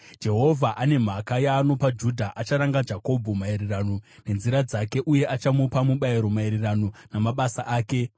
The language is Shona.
Jehovha ane mhaka yaanopa Judha; acharanga Jakobho maererano nenzira dzake uye achamupa mubayiro maererano namabasa ake.